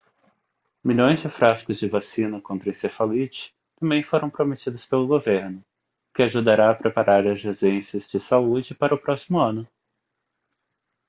milhões de frascos de vacina contra encefalite também foram prometidos pelo governo o que ajudará a preparar as agências de saúde para o próximo ano